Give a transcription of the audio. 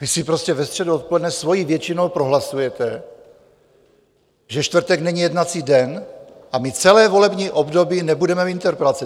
Vy si prostě ve středu odpoledne svojí většinou prohlasujete, že čtvrtek není jednací den, a my celé volební období nebudeme mít interpelace.